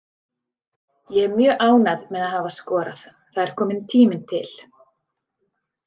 Ég er mjög ánægð með að hafa skorað, það er kominn tími til.